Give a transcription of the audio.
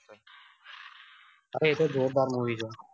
અવે એતો જોરદાર મૂવી છે